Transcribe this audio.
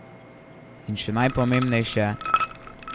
In še najpomembnejše.